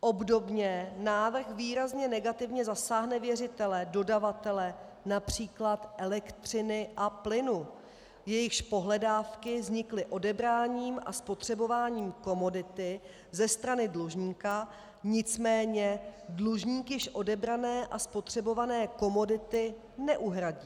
Obdobně návrh výrazně negativně zasáhne věřitele - dodavatele například elektřiny a plynu, jejichž pohledávky vznikly odebráním a spotřebováním komodity ze strany dlužníka, nicméně dlužník již odebrané a spotřebované komodity neuhradí.